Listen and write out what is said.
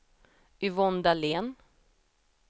Yvonne Dahlén